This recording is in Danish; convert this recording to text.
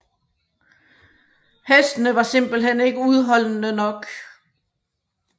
Hestene var simpelthen ikke udholdende nok